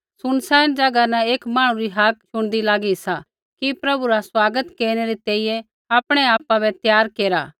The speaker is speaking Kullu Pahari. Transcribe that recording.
सुनसान ज़ैगा न एक मांहणु री हाक्क शुणदी लागी सा कि प्रभु रा स्वागत केरनै री तैंईंयैं आपणै आपा बै त्यार केरा